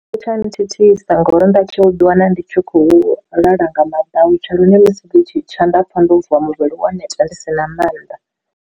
Thithisa ngori ndatshi u ḓi wana ndi tshi khou lala nga madautsha lune musi ḽi tshi tsha nda pfha ndo vuwa muvhili wo neta ndi si na mannḓa.